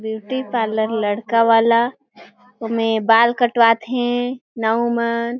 Beauty parlour लड़का वाला ओमे बाल कटवा थे नाऊ मन।